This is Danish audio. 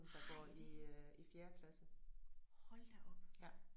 Har I det? Hold da op